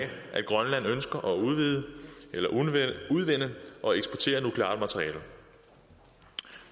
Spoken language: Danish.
at grønland ønsker at udvinde og eksportere nukleart materiale